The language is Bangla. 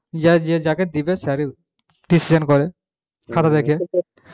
যার যাকে দিবে sir ই decision করে খাতা দেখে